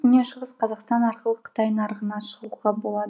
шығыс қазақстан арқылы қытай нарығына шығуға болады